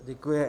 Děkuji.